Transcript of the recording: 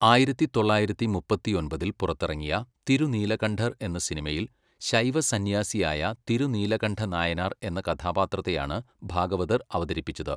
ആയിരത്തി തൊള്ളായിരത്തി മുപ്പത്തിയൊൻപതിൽ പുറത്തിറങ്ങിയ തിരുനീലകണ്ഠർ എന്ന സിനിമയിൽ ശൈവസന്യാസിയായ തിരുനീലകണ്ഠ നായനാർ എന്ന കഥാപാത്രത്തെയാണ് ഭാഗവതർ അവതരിപ്പിച്ചത്.